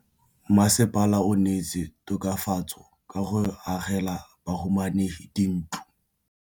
Mmasepala o neetse tokafatsô ka go agela bahumanegi dintlo.